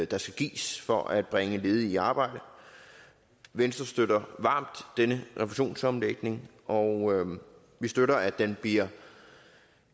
der skal gives for at bringe ledige i arbejde venstre støtter varmt den refusionsomlægning og vi støtter at den bliver